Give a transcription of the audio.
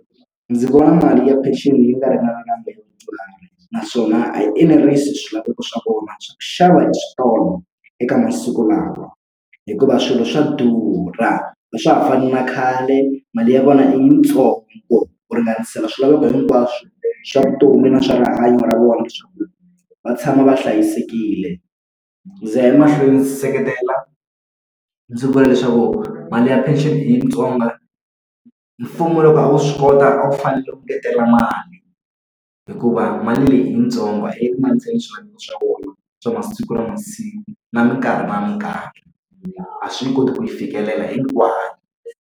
Ndzi vona mali ya pension yi nga ringana naswona a yi enerisi swilaveko swa vona swa ku xava exitolo eka masiku lawa. Hikuva swilo swa durha, a swa ha fani na khale mali ya vona yitsongo ku ringanisela swilaveko hinkwaswo swa vutomi na swa rihanyo ra vona leswaku va tshama va hlayisekile. Ndzi ya emahlweni ndzi seketela ndzi vula leswaku mali ya pension yitsongo. Mfumo loko a wu swi kota a wu fanele wu engetela mali, hikuva mali leyi i yitsongo swa masiku na masiku na mikarhi na mikarhi. A swi yi koti ku yi fikelela hinkwayo.